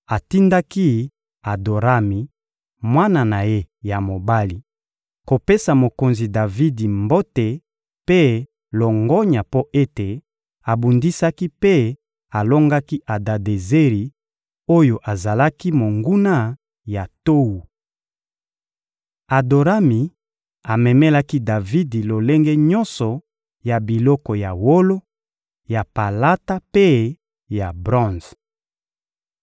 atindaki Adorami, mwana na ye ya mobali, kopesa mokonzi Davidi mbote mpe longonya mpo ete abundisaki mpe alongaki Adadezeri oyo azalaki monguna ya Towu. Adorami amemelaki Davidi lolenge nyonso ya biloko ya wolo, ya palata mpe ya bronze.